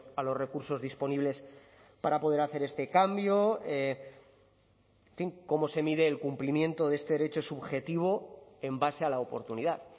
a los recursos disponibles para poder hacer este cambio en fin cómo se mide el cumplimiento de este derecho subjetivo en base a la oportunidad